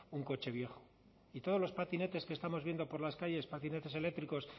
un coche viejo y todos los patinetes que estamos viendo por las calles patinetes eléctricos